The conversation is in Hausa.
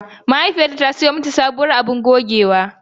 Mahaifiyarta ta siyo mata sabuwar abun gogewa.